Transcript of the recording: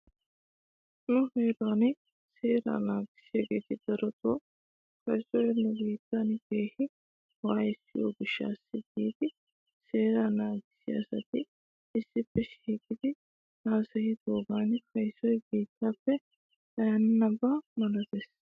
Nu heeraa seeraa naagissiyaageeti daroto kaysoy nubiittan keehi waayissiyoo gishshaw giidi seeraa naagissiyaa asati issippe shiiqidi hasayidoogan kaysoy biittaappe xayanaba malates.